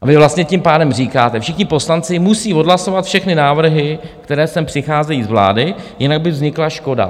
A vy vlastně tím pádem říkáte: všichni poslanci musí odhlasovat všechny návrhy, které sem přicházejí z vlády, jinak by vznikla škoda.